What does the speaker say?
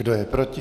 Kdo je proti?